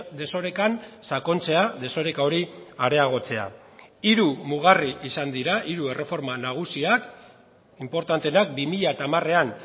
desorekan sakontzea desoreka hori areagotzea hiru mugarri izan dira hiru erreforma nagusiak inportanteenak bi mila hamarean